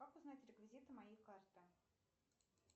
как узнать реквизиты моей карты